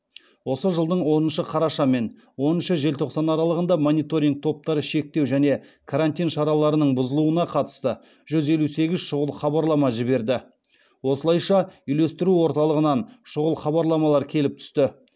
осы жылдың оныншы қараша мен оныншы желтоқсан аралығында мониторинг топтары шектеу және карантин шараларының бұзылуына қатысты жүз елу сегіз шұғыл хабарлама жіберді осылайша үйлестіру орталығынан шұғыл хабарламалар келіп түсті